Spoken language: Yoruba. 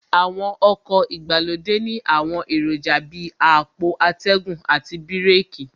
Àwọn ọkọ̀ ìgbàlódé ní àwọn èròjà Bíi àpò atẹ́gùn àti bíràkì